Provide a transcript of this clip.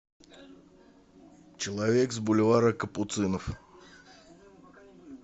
человек с бульвара капуцинов